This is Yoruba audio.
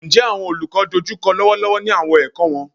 Njẹ awọn olukọ n dojukọ lọwọlọwọ ni awọn ẹkọ wọn?